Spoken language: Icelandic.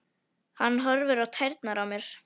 Hann horfir á tærnar á mér.